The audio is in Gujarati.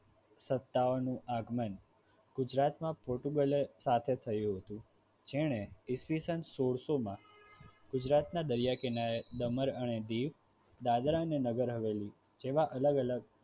સત્તાઓનું આગમન ગુજરાતમાં પોર્ટુગલ એ સાથે થયું હતું જેણે ઈસવીસન સોલસો માં ગુજરાતના દરિયાકિનારે દમણ અને દીવ દાદરા અને નગર હવેલી જેવા અલગ-અલગ